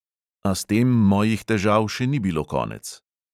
A s tem mojih težav še ni bilo konec.